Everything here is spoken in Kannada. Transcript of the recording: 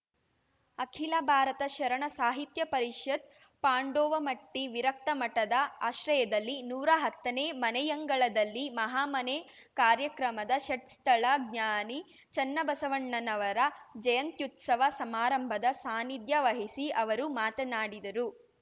ಅಖಿಲ ಭಾರತ ಶರಣ ಸಾಹಿತ್ಯ ಪರಿಷತ್‌ ಪಾಂಡೋವಮಟ್ಟಿವಿರಕ್ತಮಠದ ಆಶ್ರಯದಲ್ಲಿ ನೂರಾ ಹತ್ತನೇ ಮನೆಯಂಗಳದಲ್ಲಿ ಮಹಾ ಮನೆ ಕಾರ್ಯಕ್ರಮದ ಷಟ್‌ಸ್ಥಳ ಜ್ಞಾನಿ ಚೆನ್ನಬಸವಣ್ಣನವರ ಜಯಂತ್ಯುತ್ಸವ ಸಮಾರಂಭದ ಸಾನ್ನಿಧ್ಯ ವಹಿಸಿ ಅವರು ಮಾತನಾಡಿದರು